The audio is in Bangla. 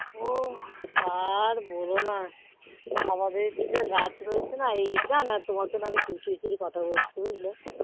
ও আর বোলো না আমাদের দুটো গাছ রয়েছে না এই গাছ আর তোমার জন্য আমি কথা বলছি বুঝলে